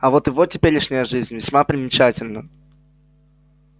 а вот его теперешняя жизнь весьма примечательна